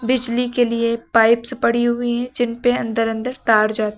बिजली के लिए पाइप्स पड़ी हुई हैं जिनपे अंदर अंदर तार जा--